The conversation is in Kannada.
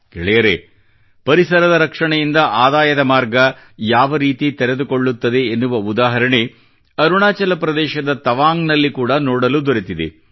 ಗೆಳೆಯರೆ ಪರಿಸರದ ರಕ್ಷಣೆಯಿಂದ ಆದಾಯದ ಮಾರ್ಗ ಯಾವರೀತಿ ತೆರೆದುಕೊಳ್ಳುತ್ತದೆ ಎನ್ನುವ ಉದಾಹರಣೆ ಅರುಣಾಚಲ ಪ್ರದೇಶದ ತವಾಂಗ್ ನಲ್ಲಿ ಕೂಡಾ ನೋಡಲು ದೊರೆತಿದೆ